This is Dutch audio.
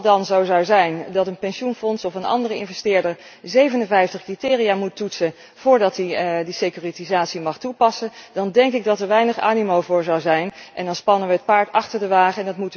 Als het dan zo zou zijn dat een pensioenfonds of een andere investeerder 57 criteria moet toetsen voordat hij de securitisatie mag toepassen, dan denk ik dat er weinig animo voor zou zijn en dan spannen we het paard achter de wagen.